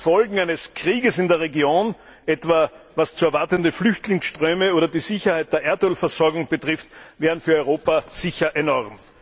Denn die Folgen eines Krieges in der Region, etwa was zu erwartende Flüchtlingsströme oder die Sicherheit der Erdölversorgung betrifft, wären für Europa sicher enorm.